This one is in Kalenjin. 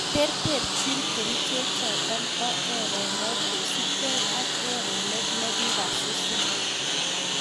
Terterchin keriche chotok poo erenook kosup gei ak erenet nekasusin